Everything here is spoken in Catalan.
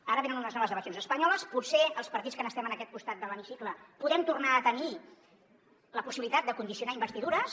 ara venen unes noves eleccions espanyoles potser els partits que estem en aquest costat de l’hemicicle podem tornar a tenir la possibilitat de condicionar investidures